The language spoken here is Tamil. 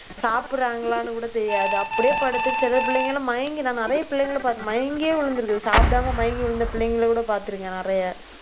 சாப்பிடுறாங்களான்னு கூட தெரியாது. அப்படியே படுத்து சில பிள்ளைங்கலாம் மயங்கி, நான் நிறைய பிள்ளைங்களை பார்த்து மயங்கியே விழுந்திருக்குது. சாப்பிடாம மயங்கி விழுந்த பிள்ளைங்களை கூட பார்த்திருக்கிறேன் நிறைய